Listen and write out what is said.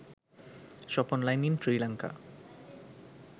shop online in sri lanka